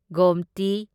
Gomti